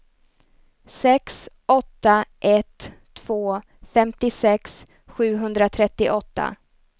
sex åtta ett två femtiosex sjuhundratrettioåtta